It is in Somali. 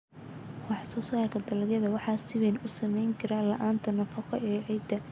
Wax-soo-saarka dalagga waxa si weyn u saamayn kara la'aanta nafaqo ee ciidda.